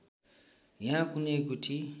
यहाँ कुनै गुठी